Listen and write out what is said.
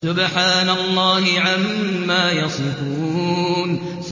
سُبْحَانَ اللَّهِ عَمَّا يَصِفُونَ